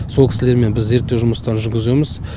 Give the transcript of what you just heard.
сол кісілермен біз зерттеу жұмыстарын жүргіземіз